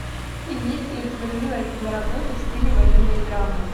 имеется ли у тебя милая киноработа в стиле военные драмы